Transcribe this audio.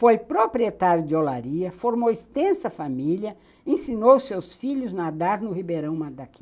Foi proprietária de olaria, formou extensa família, ensinou seus filhos a nadar no Ribeirão Madaki.